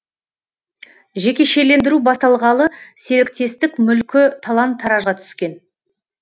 жекешелендіру басталғалы серіктестік мүлкі талан таражға түскен